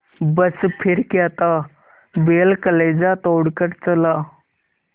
बस फिर क्या था बैल कलेजा तोड़ कर चला